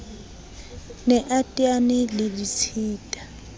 ne a teane le ditshita